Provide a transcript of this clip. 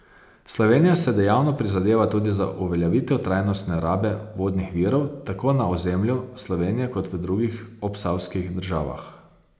Slovenija se dejavno prizadeva tudi za uveljavitev trajnostne rabe vodnih virov tako na ozemlju Slovenije kot v drugih obsavskih državah.